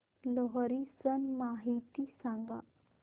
लोहरी सण माहिती सांगा